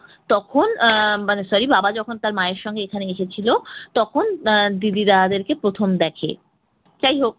তখন আহ মানে sorry বাবা যখন তার মায়ের সঙ্গে এখানে এসেছিল তখন আহ দিদি দাদাদের প্রথম দেখে। যাই হোক